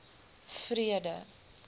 vrede